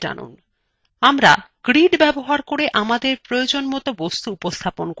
আমরা grid ব্যবহার করে আমাদের প্রয়োজনমত বস্তু উপস্থাপন করতে পারি